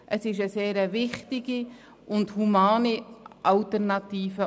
Das ist eine sehr wichtige und humane Alternative;